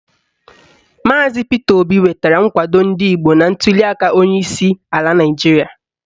Maazi Pita Obi nwetara nkwado ndị Igbo na ntuliaka onyeisi ala Naịjiria.